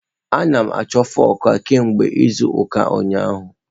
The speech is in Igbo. A na m achọ fụk a kemgbe izu ụka ụnyaahụ.